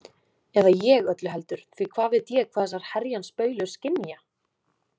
Eða ég öllu heldur því hvað veit ég hvað þessar herjans baulur skynja?